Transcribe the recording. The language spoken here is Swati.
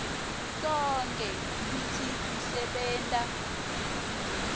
sonkhe kutsi kusebenta